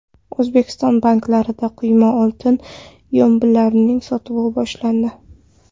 O‘zbekiston banklarida quyma oltin yombilarining sotuvi boshlandi.